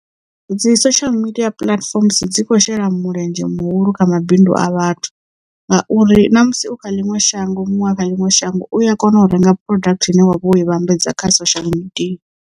Dzi social media platform dzi khou shela mulenzhe muhulu kha mabindu a vhathu ngauri na musi u kha ḽiṅwe shango muṅwe a kha ḽiṅwe shango u a kona u renga product ine wavha wo i vhambedza kha social media.